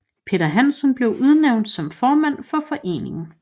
Peter Hansen blev udnævnt som formand for foreningen